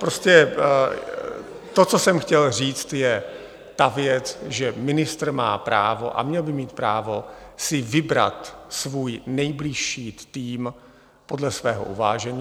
Prostě to, co jsem chtěl říct, je ta věc, že ministr má právo - a měl by mít právo - si vybrat svůj nejbližší tým podle svého uvážení.